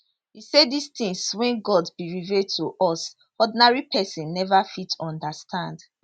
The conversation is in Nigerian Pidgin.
e say dis tins wey god bin reveal to us ordinary pesin neva fit understand